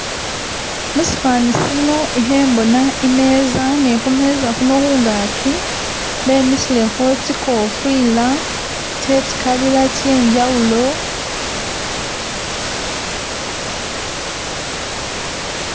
Musifani sino ihe mbona imeza ne khumeza khuno khungaki bemisilekho tsikofila tsetsikabila tsenjawulo